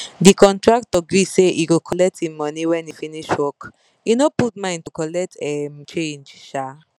the contractor gree say he go collect him money when he finish work he no put mind to colet um change um